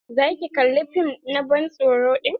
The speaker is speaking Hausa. Za ki kalla fim na ban tsoro din?